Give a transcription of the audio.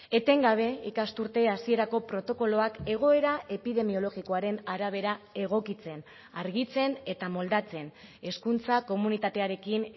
etengabe ikasturte hasierako protokoloak egoera epidemiologikoaren arabera egokitzen argitzen eta moldatzen hezkuntza komunitatearekin